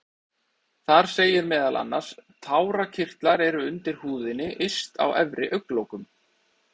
Þar segir meðal annars: Tárakirtlar eru undir húðinni yst á efri augnlokum.